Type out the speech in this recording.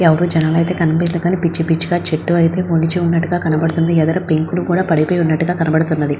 ఎవరు జనాలు అయితే కనిపియట్లేదు కానీ పిచ్చి పిచ్చిగా చెట్లు అయితే మొలిచి ఉన్నట్టుగా కనపడుతుంది ఎదర పెంకులు కూడా పడిపోయినట్టుగా కనపడతుంది.